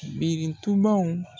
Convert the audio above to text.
Birintubaw.